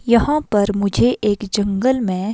यहां पर मुझे एक जंगल में--